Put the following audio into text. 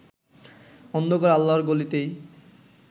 অন্ধকার আল্লাহর গলিতেই